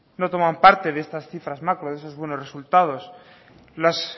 no toman parte de estas cifras macro de esos buenos resultados las